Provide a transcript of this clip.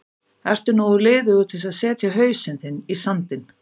Ertu nógu liðugur til að setja hausinn þinn í sandinn?